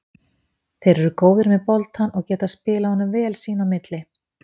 Þeir eru góðir með boltann og geta spilað honum vel sín á milli.